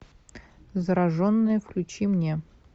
зараженные включи мне